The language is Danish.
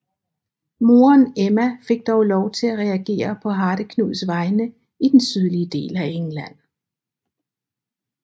Moderen Emma fik dog lov til at regere på Hardeknuds vegne i den sydlige del af England